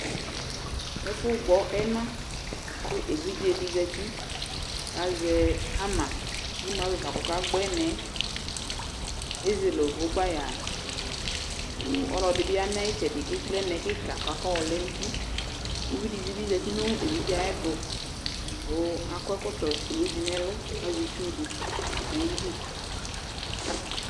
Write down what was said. ɛfo gbɔ ɛna ko evidze di zati ko azɛ hama ko imu avɛ fa ko ɔka gba ɛna yɛ ezele òvò gbaya ko ɔlo ɛdi bi ya no ayi itsɛdi ko ekple ɛna yɛ keka ko ɔlɛ no uti ko uvi di bi zati no evidze ayɛto ko akɔ ɛkɔtɔ kulu di no ɛlo ko azɛ itsu di no ayidu